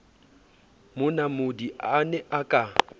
monamodi a ne a ka